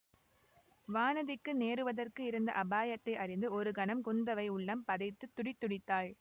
வானதிக்கு நேருவதற்கு இருந்த அபாயத்தை அறிந்து ஒரு கணம் குந்தவை உள்ளம் பதைத்துத் துடிதுடித்தாள்